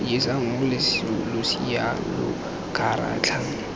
jesa moo losea lo kgaratlhang